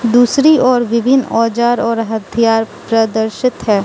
दूसरी ओर विभिन्न औजार और हथियार प्रदर्शित है।